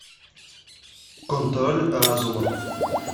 контроль разума